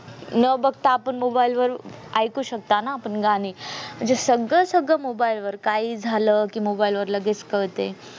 न बघता आपण mobile वर ऐकू शकता ना आपण गाणी म्हणजे सगळं सगळं mobile वर काही झालं कि mobile वर लगेच कळते